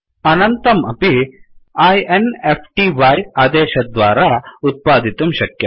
अनन्तं अपि -i n f t y आदेशद्वारा उत्पादितुं शक्यम्